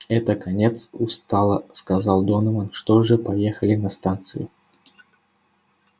это конец устало сказал донован что же поехали на станцию